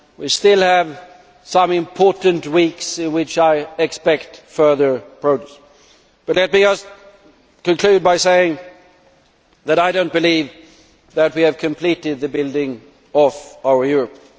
We still have some important weeks in which I expect further progress, but let me conclude by saying that I do not believe that we have completed the building of our Europe.